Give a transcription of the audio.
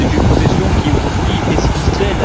C'est une profession qui, aujourd'hui, est sinistrée.